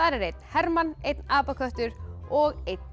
er einn herman einn apaköttur og einn